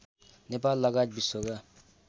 नेपाल लगायत विश्वका